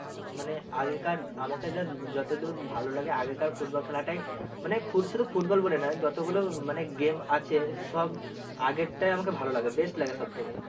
মানে আগে কার আমাকে ধর যত দূর ভালো লাগে আগেকার football খেলাটাই মানে ফুত শুধু football বলে না যত গুলো মানে game আছে সব আগেরটাই আমাকে ভালো লাগে best লাগে সব থেকে।